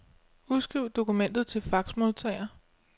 Udskriv dokumentet til faxmodtager.